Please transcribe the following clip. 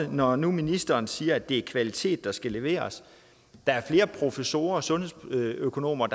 når nu ministeren siger at det er kvalitet der skal leveres der er flere professorer og sundhedsøkonomer